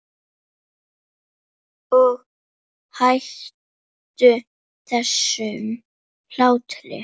Og hættu þessum hlátri.